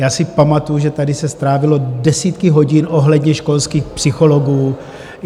Já si pamatuji, že tady se strávilo desítky hodiny ohledně školských psychologů.